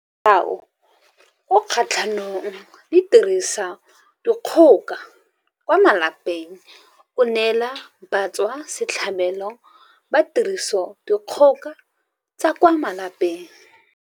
Molao o o Kgatlhanong le Tirisodikgoka kwa Malapeng o neela batswasetlhabelo ba tirisodikgoka tsa kwa malapeng.